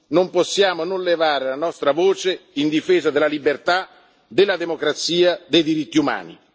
paese. Non possiamo non levare la nostra voce in difesa della libertà, della democrazia, dei diritti